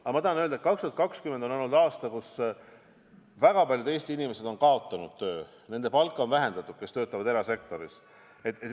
Aga ma tahan öelda, et 2020 on olnud aasta, kus väga paljud Eesti inimesed on kaotanud töö ja paljude palka on vähendatud, kui nad töötavad erasektoris.